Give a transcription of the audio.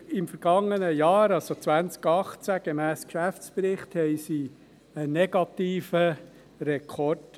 Im vergangenen Jahr, also 2018 gemäss Geschäftsbericht, erreichten sie einen negativen Rekord.